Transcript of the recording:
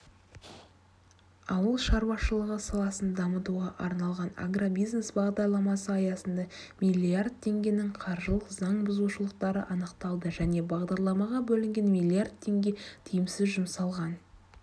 ауыл шаруашылығы саласын дамытуға арналған агробизнес бағдарламасы аясында миллиард теңгенің қаржылық заң бұзушылықтары анықталды және бағдарламаға бөлінген миллиард теңге тиімсіз жұмсалған